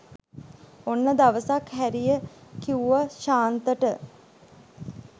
ඔන්න දවසක් හැරිය කිව්ව ශාන්තට